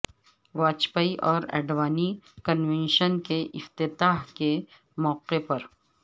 واجپئی اور اڈوانی کنونشن کے افتتاح کے موقع پر